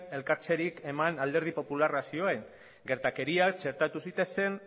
elkartzerik eman alderdi popularrak zioen gertakariak txertatu zitezen